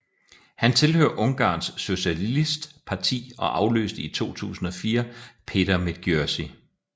Han tilhører Ungarns Socialistparti og afløste i 2004 Péter Medgyessy